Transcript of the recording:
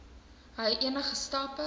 hy enige stappe